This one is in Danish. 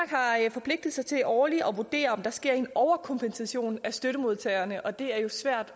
forpligtet sig til årligt at vurdere om der sker en overkompensation af støttemodtagerne og det er jo svært